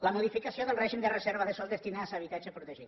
la modificació del règim de reserves de sòl destinades a habitatge protegit